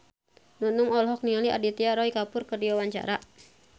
Nunung olohok ningali Aditya Roy Kapoor keur diwawancara